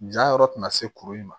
Jan yɔrɔ tɛna se kuru in ma